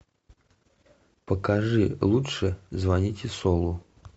покажи лучше звоните солу